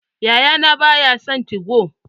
Yayana ba ya son 2go.